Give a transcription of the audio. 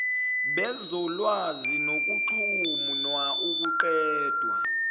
bezolwazi nokuxhumna ukuqedwa